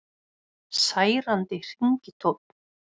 Særandi hringitónn